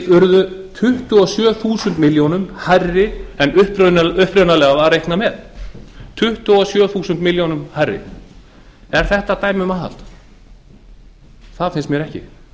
urðu tuttugu og sjö þúsund milljónum hærri en upprunalega var reiknað með er þetta dæmi um aðhald það finnst mér ekki